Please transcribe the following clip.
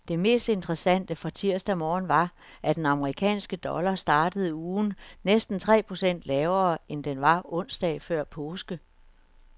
Det mest interessante fra tirsdag morgen var, at den amerikanske dollar startede ugen næsten tre procent lavere, end den var onsdag før påske.